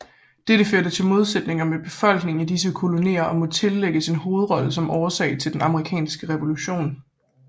Dette førte til modsætninger med befolkningen i disse kolonier og må tillægges en hovedrolle som årsag til den amerikanske revolution